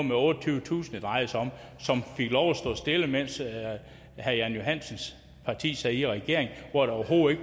med otteogtyvetusind det drejede sig om som fik lov at stå stille mens herre jan johansens parti sad i regering og hvor der overhovedet